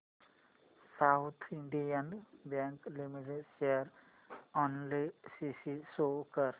south Indian Bank Limited share analysis show कर